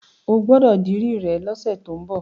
O gbọ́dọ̀ dirí rẹ lọ́sẹ̀ tó ń bọ̀.